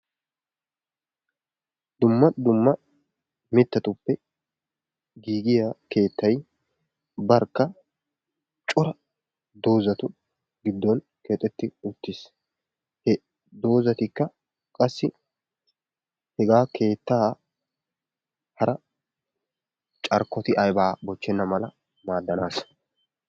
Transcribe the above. Dumma dumma mittatuppe giigiya keettayi barkka cora doozatu giddon keexetti uttis. He doozatikka qassi hegaa keettaa hara carkkoti aybaa bochchenna mala maaddanaassa.